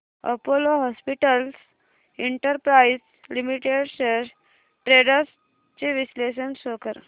Apollo hospitals enterprise limited shares trends चे विश्लेषण show कर